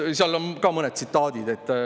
Sealt ka mõned tsitaadid.